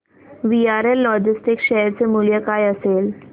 VRL logistics share चे मूल्य काय असेल